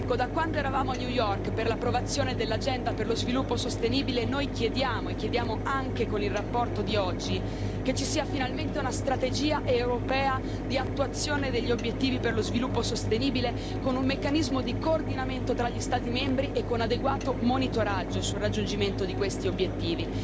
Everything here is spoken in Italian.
Da quando eravamo a New York per l'approvazione dell'agenda per lo sviluppo sostenibile, noi chiediamo e chiediamo anche con la relazione di oggi che ci sia finalmente una strategia europea di attuazione degli obiettivi di sviluppo sostenibile, con un meccanismo di coordinamento tra gli Stati membri e con adeguato monitoraggio sul raggiungimento di questi obiettivi.